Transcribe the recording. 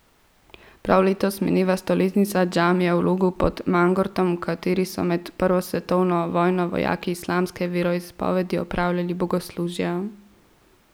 Prav letos mineva stoletnica džamije v Logu pod Mangartom, v kateri so med prvo svetovno vojno vojaki islamske veroizpovedi opravljali bogoslužja.